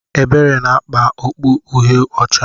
Ebere na-akpa okpu Uhie ọcha.